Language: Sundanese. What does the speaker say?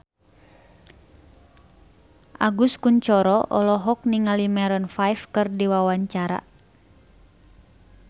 Agus Kuncoro olohok ningali Maroon 5 keur diwawancara